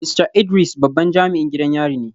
Mista Idris babban jami’in gidan yari ne